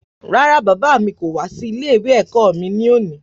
Rárá, bàbá mi kò wá sí ilé-ìwé mi ní òní.